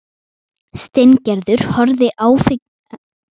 Steingerður horfði áhyggjufull á hann ferðbúast.